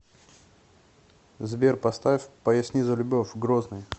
сбер поставь поясни за любовь грозный